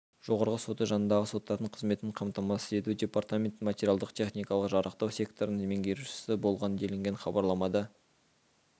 жоғарғы соты жанындағы соттардың қызметін қамтамасыз ету департаментін материалдық-техникалық жарақтау секторының меңгерушісі болған делінген хабарламада